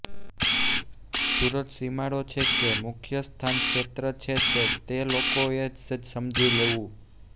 સુરત સીમાડો છે કે મુખ્યસ્થાનક્ષેત્ર છે તે તો લોકોેએ જ સમજી લેવું